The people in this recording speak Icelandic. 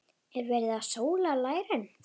Er verið að sóla lærin?